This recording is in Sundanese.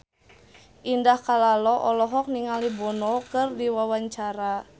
Indah Kalalo olohok ningali Bono keur diwawancara